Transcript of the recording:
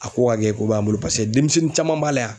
A ko ka kɛ ko ba y'an bolo paseke denmisɛnnin caman b'a la yan.